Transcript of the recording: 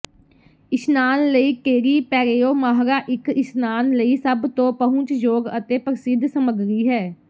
ਇਸ਼ਨਾਨ ਲਈ ਟੇਰੀ ਪੈਰੇਓ ਮਾਹਰਾ ਇਕ ਇਸ਼ਨਾਨ ਲਈ ਸਭ ਤੋਂ ਪਹੁੰਚਯੋਗ ਅਤੇ ਪ੍ਰਸਿੱਧ ਸਮੱਗਰੀ ਹੈ